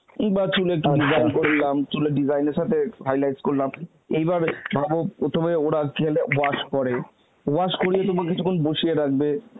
বা চুলে করলাম চুলের design এর সাথে highlights করলাম এইভাবে ভাব প্রথমে ওরা চুলটা wash করে, wash করলেই তোমাকে তখন বসিয়ে রাখবে